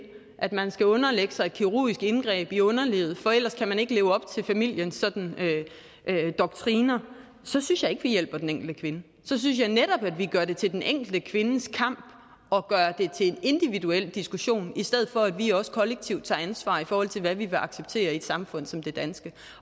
at man skal underlægge sig et kirurgisk indgreb i underlivet for ellers kan man ikke leve op til familiens doktriner så synes jeg ikke vi hjælper den enkelte kvinde så synes jeg netop at vi gør det til den enkelte kvindes kamp og gør det til en individuel diskussion i stedet for at vi også kollektivt tager ansvar i forhold til hvad vi vil acceptere i et samfund som det danske